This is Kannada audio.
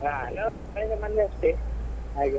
ನಾನು ಮನೆಗೆ ಬಂದದ್ ಅಷ್ಟೆ ಹಾಗೆ.